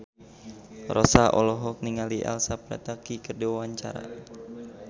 Rossa olohok ningali Elsa Pataky keur diwawancara